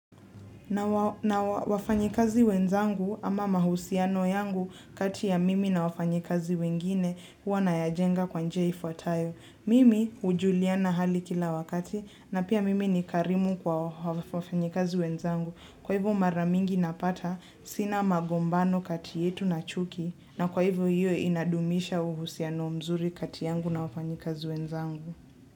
Na wafanyikazi wenzangu ama mahusiano yangu kati ya mimi na wafanyikazi wengine huwa nayajenga kwa njia ifuatayo. Mimi hujuliana hali kila wakati na pia mimi ni karimu kwa wafanyikazi wenzangu. Kwa hivyo maramingi napata sina magombano kati yetu na chuki na kwa hivyo hiyo inadumisha uhusiano mzuri kati yangu na wafanyikazi wenzangu.